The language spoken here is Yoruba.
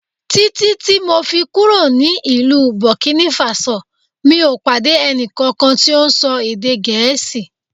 Títí ti mọ̀ fi kúrò ní ìlú Burkina Faso mi ò pàdé ẹnì kankan tí ó ń ṣọ èdè Gẹ̀ẹ́sì